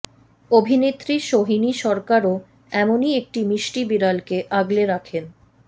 অভিনেত্রী সোহিনী সরকারও এমনই একটি মিষ্টি বিড়ালকে আগলে রাখেন